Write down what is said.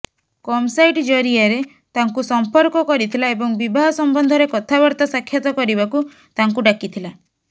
କମ ସାଇଟ ଜରିଆରେ ତାଙ୍କୁ ସମ୍ପର୍କ କରିଥିଲା ଏବଂ ବିବାହ ସମ୍ବନ୍ଧରେ କଥାବାର୍ତ୍ତା ସାକ୍ଷାତ କରିବାକୁ ତାଙ୍କୁ ଡାକିଥିଲା